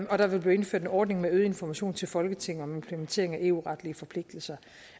og der vil blive indført en ordning med øget information til folketinget om implementering af eu retlige forpligtelser